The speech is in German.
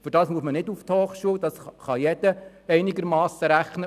Dafür muss man nicht eine Hochschule besuchen, das kann jeder einigermassen errechnen.